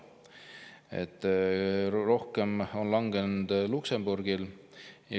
Rohkem on langenud Luksemburgis.